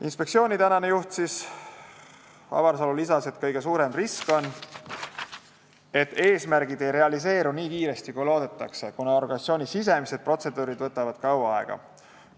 Inspektsiooni tänane juht Avarsalu lisas, et kõige suurem risk on, et eesmärgid ei realiseeru nii kiiresti, kui loodetakse, kuna organisatsiooni sisemised protseduurid võtavad kaua aega.